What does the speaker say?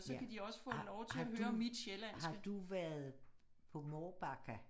Ja har har du har du været på Mårbacka